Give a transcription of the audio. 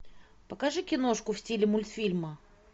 покажи киношку в стиле мультфильма